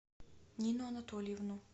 нину анатольевну